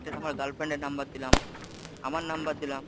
আমার girlfriend এর number দিলাম আমার number দিলাম